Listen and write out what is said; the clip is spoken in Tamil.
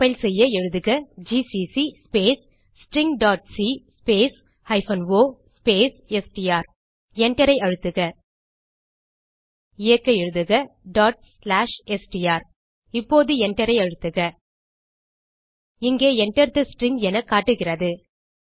கம்பைல் செய்ய எழுதுக ஜிசிசி ஸ்பேஸ் stringசி space o space STR Enter ஐ அழுத்துக இயக்க எழுதுக str இப்போது Enter ஐ அழுத்துக இங்கே Enter தே ஸ்ட்ரிங் என காட்டுகிறது